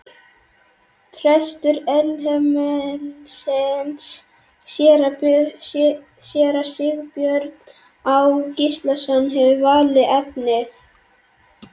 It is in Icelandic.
Prestur Elliheimilisins, séra Sigurbjörn Á. Gíslason, hefur valið efnið.